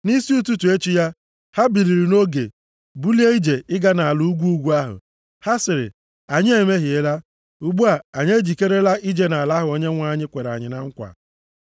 Nʼisi ụtụtụ echi ya, ha biliri nʼoge bulie ije ịga nʼala ugwu ugwu ahụ. Ha sịrị, “Anyị emehiela. Ugbu a anyị ejikerela ije nʼala ahụ Onyenwe anyị kwere anyị nkwa.”